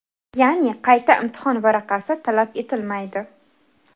Ya’ni, qayta imtihon varaqasi talab etilmaydi.